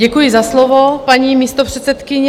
Děkuji za slovo, paní místopředsedkyně.